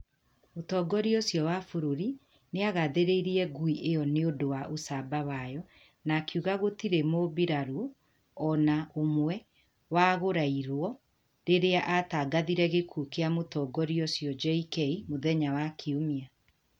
Mũtongoria ũcio wa bũrũri nĩ agathĩrĩirie ngui ĩyo nĩ ũndũ wa ũcamba wayo na akiuga gũtirĩ mũmbirarũ o na ũmwe waguraĩrũo rĩrĩa atangathire gĩkuũ kĩa mũtongoria ũcio JK mũthenya wa Kiumia.